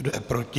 Kdo je proti?